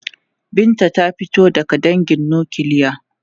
Binta ta fito daga dangin nukiliya.